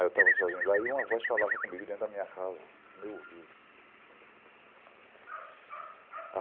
Aí eu estava sozinho lá e uma voz falava comigo dentro da minha casa, no meu ouvido.